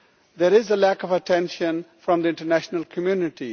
There is a lack of attention from the international community.